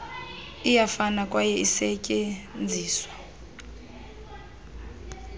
iyafana kwaye isetyenziswa